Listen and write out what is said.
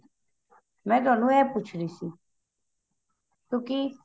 ਮੈਂ ਤੁਹਾਨੂੰ ਏਹ ਪੁੱਛ ਰਹੀ ਸੀ ਕਿਉਂਕਿ